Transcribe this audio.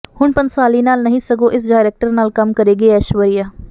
ਹੁਣ ਭੰਸਾਲੀ ਨਾਲ ਨਹੀਂ ਸਗੋਂ ਇਸ ਡਾਇਰੈਕਟਰ ਨਾਲ ਕੰਮ ਕਰੇਗੀ ਐਸ਼ਵਰੀਆ